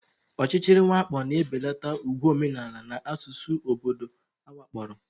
Ọchịchịrị mwakpo na-ebelata ùgwù omenala na asụsụ obodo awakporo.